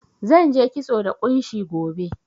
Zan je kitso da ƙunshi gobe.